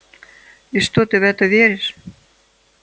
и что ты в это веришь